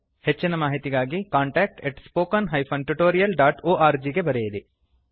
ಹೆಚ್ಚಿನ ಮಾಹಿತಿಗಾಗಿcontactspoken tutorialorg ಗೆ ಬರೆಯಿರಿ